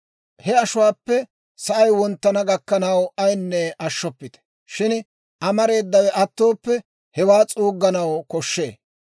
he ashuwaappe sa'ay wonttana gakkanaw ayinne ashshoppite; shin amareedawe attooppe, hewaa s'uugganaw koshshee.